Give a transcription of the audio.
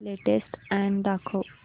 latest ad दाखव